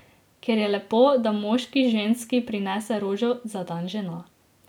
Ker je lepo, da moški ženski prinese rožo za dan žena.